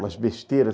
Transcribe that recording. Umas besteiras.